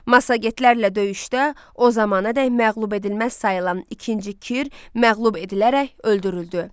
Massagetlərlə döyüşdə o zamana qədər məğlub edilməz sayılan ikinci Kir məğlub edilərək öldürüldü.